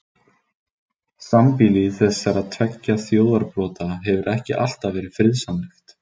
Sambýli þessara tveggja þjóðarbrota hefur ekki alltaf verið friðsamlegt.